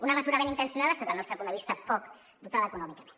una mesura ben intencionada sota el nostre punt de vista poc dotada econòmicament